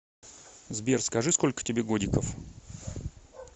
сбер скажи сколько тебе годиков